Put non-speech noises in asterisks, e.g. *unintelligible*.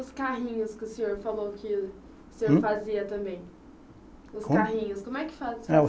Os carrinhos que o senhor falou que o senhor fazia também? Os carrinhos *unintelligible*